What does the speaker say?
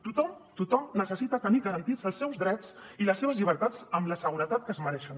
tothom tothom necessita tenir garantits els seus drets i les seves llibertats amb la seguretat que es mereixen